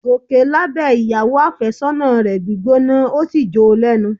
Gòkè lábẹ̀ ìyàwó àfẹ́sọ́nà rẹ̀ gbígbóná ó sì jó o lẹ́nu